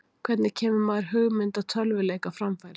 Hvernig kemur maður hugmynd að tölvuleik á framfæri?